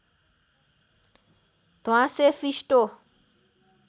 ध्वाँसे फिस्टो